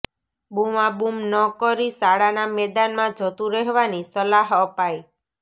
બૂમાબૂમ ન કરી શાળાના મેદાનમાં જતું રહેવાની સલાહ અપાઈ